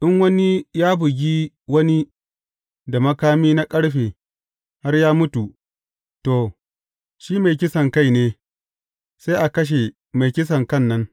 In wani ya bugi wani da makami na ƙarfe har ya mutu, to, shi mai kisankai ne; sai a kashe mai kisankan nan.